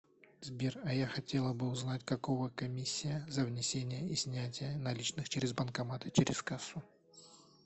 сбер а я хотела бы узнать какого комиссия за внесение и снятие наличных через банкомат и через кассу